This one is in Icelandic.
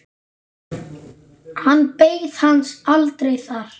Hann beið hans aldrei þar.